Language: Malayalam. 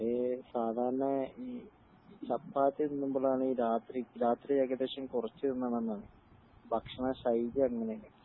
അതേ സാദാരണ ഈ ചപ്പാത്തി തിന്നുമ്പോളാണ് രാത്രി ഏകദേശം കുറച്ച് തിന്ന നന്നാണ് ഭക്ഷണ ശൈലി അങ്ങനയാണ്